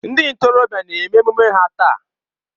Ndị ntorobịa a na-eme emume ha taa.